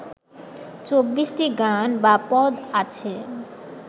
চব্বিশটি গান বা পদ আছে